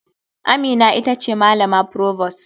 Amina ita ce malama provost.